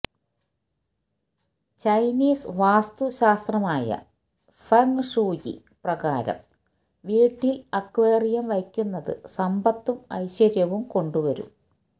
Chinese വാസ്തുശാസ്ത്രമായ feng shui പ്രകാരം വീട്ടില് അക്വേറിയം വയ്ക്കുന്നത് സമ്പത്തും ഐശ്വര്യവും കൊണ്ടുവരും